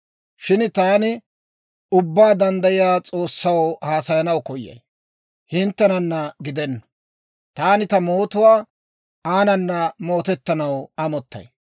Shin taani Ubbaa Danddayiyaa S'oossaw haasayanaw koyay; hinttenanna gidenna. Taani ta mootuwaa aanana mootettanaw amottay.